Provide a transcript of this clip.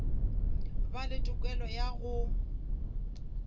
ba le tokelo ya go